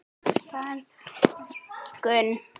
Birta: En á morgun?